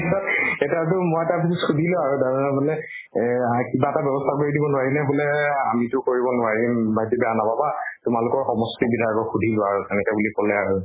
তাৰ পিছত এটাক টো মই তাক সুধিলো আৰু তাৰ মানে এই কিবা এটা বেবস্থা কৰি দিব নোৱাৰি নে বুলে আমিটো কৰিব নোৱাৰিম, ভাইটী বেয়া নাপাবা। তোমালোকৰ সমষ্টিৰ বিলাকক সুধি লোৱা আৰু। এনেকে বুলি কলে আৰু।